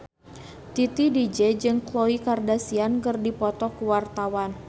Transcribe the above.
Titi DJ jeung Khloe Kardashian keur dipoto ku wartawan